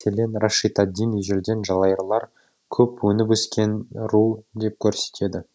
мәселен рашид ад дин ежелден жалайырлар көп өніпөскен ру деп көрсетеді